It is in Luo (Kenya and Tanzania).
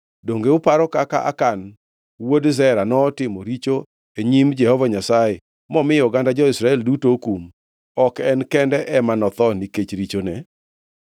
Donge uparo kaka Akan wuod Zera notimo richo e nyim Jehova Nyasaye, momiyo oganda jo-Israel duto okum? Ok en kende ema notho nikech richone.’ ”